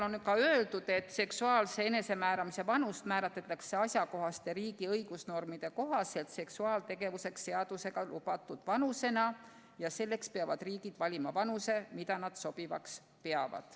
On ka öeldud, et seksuaalse enesemääramise vanus määratletakse konkreetse riigi õigusnormide kohaselt seksuaaltegevuseks seadusega lubatud vanusena ja selleks peavad riigid valima vanuse, mida nad sobivaks peavad.